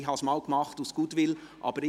Ich habe es einmal aus Goodwill zugelassen.